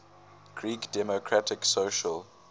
greek democratic social